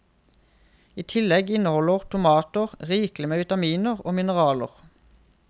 I tillegg inneholder tomater rikelig med vitaminer og mineraler.